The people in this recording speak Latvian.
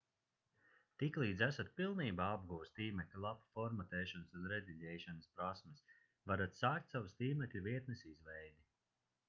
tiklīdz esat pilnībā apguvis tīmekļa lapu formatēšanas un rediģēšanas prasmes varat sākt savas tīmekļa vietnes izveidi